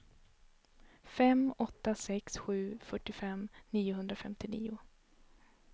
fem åtta sex sju fyrtiofem niohundrafemtionio